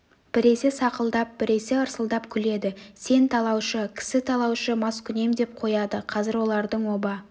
біресе сақылдап біресе ырсылдап күледі сен талаушы кісі талаушы маскүнем деп қояды қазір олардың оба